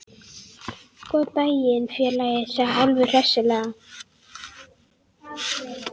Góðan daginn, félagi, sagði Álfur hressilega.